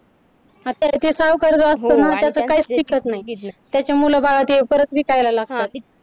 आता जे सावकार जो असतो ना तर त्याच काहीच टिकत नाही त्याचे मुलंबाळं ते परत विकायला लागतात.